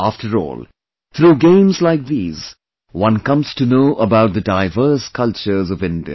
After all, through games like these, one comes to know about the diverse cultures of India